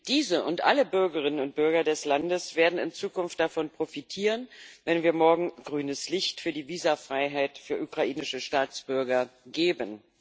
Diese und alle Bürgerinnen und Bürger des Landes werden in Zukunft davon profitieren, wenn wir morgen grünes Licht für die Visafreiheit für ukrainische Staatsbürger geben.